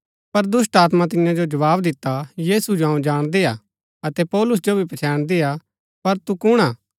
पर दुष्‍टात्मा तियां जो जवाव दिता यीशु जो अऊँ जाणदी हा अतै पौलुस जो भी पच्छैणदी हा पर तू कुण हा